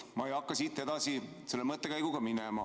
Ma ei hakka siit edasi selle mõttekäiguga minema.